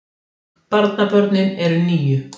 Barnabörnin eru níu